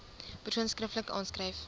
persoon skriftelik aanskryf